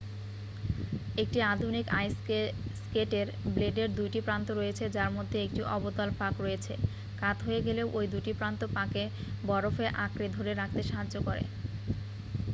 একটি আধুনিক আইস স্কেটের ব্লেডের 2 টি প্রান্ত রয়েছে যার মধ্যে একটি অবতল ফাঁক রয়েছে কাত হয়ে গেলেও ওই দুটি প্রান্ত পাকে বরফে আঁকড়ে ধরে রাখতে সাহায্য করে